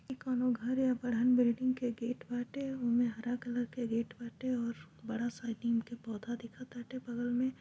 ई कोनो घर है बड़हन बिल्डिंग के गेट बाटे ओमे हरा कलर के गेट बाटे और बड़ा सा नीम का पौधा दिखताटे बगल में।